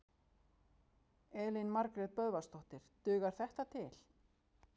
Elín Margrét Böðvarsdóttir: Dugar þetta til?